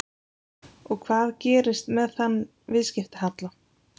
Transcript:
Og hvað gerist með þann viðskiptahalla?